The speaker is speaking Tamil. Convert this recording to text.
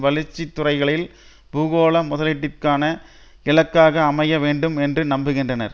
வளர்ச்சி துறைகளில் பூகோள முதலீட்டிற்காக இலக்காக அமைய வேண்டும் என்று நம்புகின்றனர்